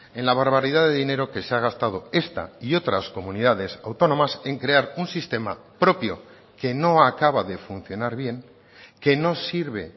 en la barbaridad de dinero que se ha gastado esta y otras comunidades autónomas en crear un sistema propio que no acaba de funcionar bien que no sirve